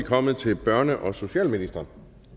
kommet til børne og socialministeren